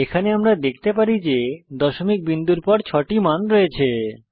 এখানে আমরা দেখতে পারি যে দশমিক বিন্দুর পর ছয়টি মান আছে